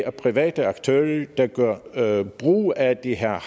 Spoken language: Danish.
at private aktører der gør brug af de her